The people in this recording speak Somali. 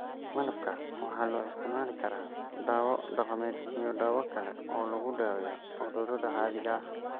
Malabka waxaa loo isticmaali karaa dawo dhaqameed iyo dawo kale oo lagu daweeyo cudurrada caadiga ah.